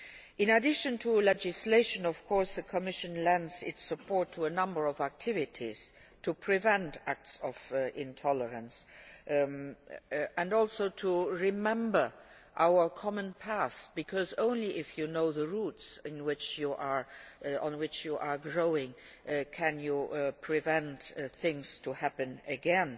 In addition to legislation, of course, the Commission lends its support to a number of activities to prevent acts of intolerance and also to remember our common past, because only if you know the roots on which you are growing can you prevent things from happening again.